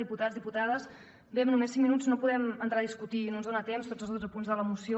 diputats diputades bé amb només cinc minuts no podem entrar a discutir no ens dona temps tots els dotze punts de la moció